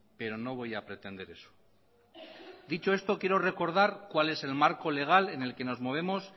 pero no voy a pretender eso dicho esto quiero recordar cuál es el marco legal en el que nos movemos